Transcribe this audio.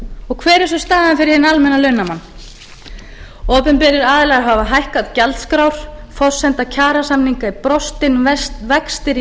og hver er svo staðan fyrir hinn almenna launamann opinberir aðilar hafa hækkað gjaldskrár forsenda kjarasamninga er brostin vextir í